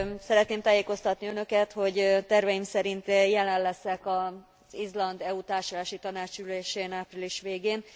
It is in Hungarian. Szeretném tájékoztatni Önöket, hogy terveim szerint jelen leszek az Izland EU Társulási Tanács ülésén, április végén.